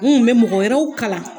Min bɛ mɔgɔ wɛrɛw kalan